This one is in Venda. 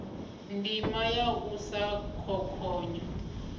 ndima ya u sa khokhonya